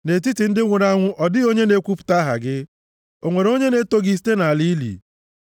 Nʼetiti ndị nwụrụ anwụ ọ dịghị onye na-ekwupụta aha gị. O nwere onye na-eto gị site nʼala ili?